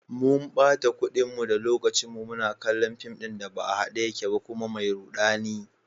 Mun bata kudinmu da lokacinmu muna kallon fim ɗin da ba a hade yake ba kuma mai rudani.